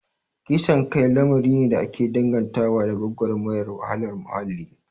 Kisan kai lamari ne da ake dangantawa da gwagwarmayar wahalar muhalli